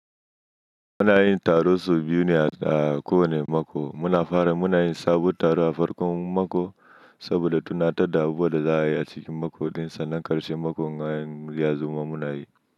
Muna yin taro sau biyu ne a kowane mako. Muna fara muna yin sabuwar taro a farkon mako saboda tunatar da abubuwan da za a yi a cikin mako ɗinsa nan ƙarshen mako, na yin liazar mun yi.